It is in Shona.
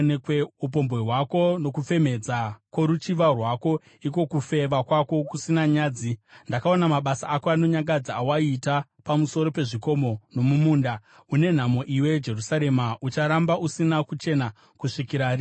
upombwe hwako nokufemhedza kworuchiva rwako, iko kufeva kwako kusina nyadzi! Ndakaona mabasa ako anonyangadza awaiita pamusoro pezvikomo nomumunda. Une nhamo, iwe Jerusarema! Ucharamba usina kuchena kusvikira rinhiko?”